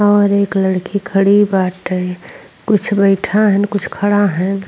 और एक लड़की खड़ी बाटे। कुछ बैठा हैन कुछ खड़ा हैन।